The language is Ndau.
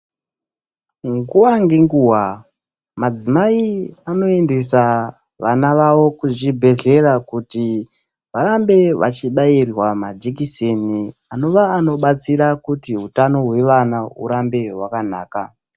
Nguwa ngenguwa madzimai anoendesa vana vavo kuzvibhedhlera kuti varambe vachibairwa majekiseni anova anobatsira kuti utano hwevana hurambe hwakanaka .